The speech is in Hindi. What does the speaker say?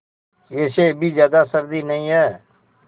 वैसे अभी ज़्यादा सर्दी नहीं है